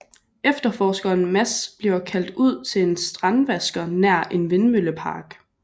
Efterforskeren Mads bliver kaldt ud til en strandvasker nær en vindmøllepark